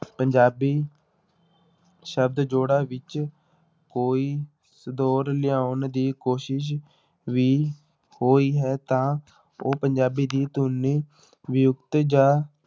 ਪੰਜਾਬੀ ਸ਼ਬਦ ਜੋੜਾਂ ਵਿੱਚ ਕੋਈ ਦੌਰ ਲਿਆਉਣ ਦੀ ਕੋਸ਼ਿਸ਼ ਵੀ ਹੋਈ ਹੈ ਤਾਂ ਉਹ ਪੰਜਾਬੀ ਦੀ ਧੁਨੀ ਜਾਂ